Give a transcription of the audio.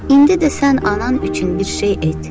İndi də sən anan üçün bir şey et.